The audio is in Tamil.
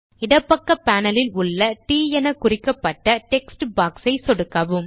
இடப்பக்க பேனல் ல் உள்ள ட் எனக் குறிக்கப்பட்ட டெக்ஸ்ட் பாக்ஸ் ஐ சொடுக்கவும்